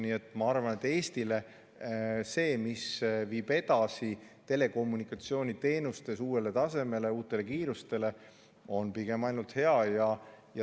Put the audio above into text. Nii et ma arvan, et Eestile on see, mis viib edasi ja telekommunikatsiooniteenustes uuele tasemele, uutele kiirustele, ainult hea.